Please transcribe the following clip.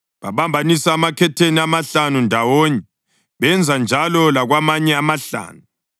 Babambanisa amakhetheni amahlanu ndawonye, benza njalo lakwamanye amahlanu.